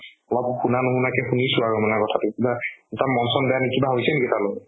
অলপ শুনা নুশুনা কে শুনিছো আৰু তাৰমানে কথাতো কিবা তাৰ মন চন বেয়া নেকি কিবা হৈছে নেকি তাৰ লগত